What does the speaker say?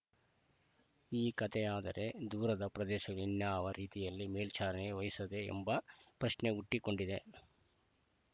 ಈ ಕತೆಯಾದರೆ ದೂರದ ಪ್ರದೇಶದ ಇನ್ನಾವ ರೀತಿಯಲ್ಲಿ ಮೇಲ್ವಿಚಾರಣೆ ವಹಿಸಲಿದೆ ಎಂಬ ಪ್ರಶ್ನೆ ಹುಟ್ಟಿಕೊಂಡಿದೆ